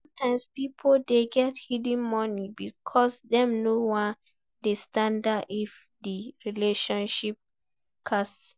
Sometimes pipo dey get hidden money because dem no wan dey stranded if di relationship cast